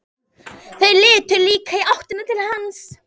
Þau litu líka í áttina til hans.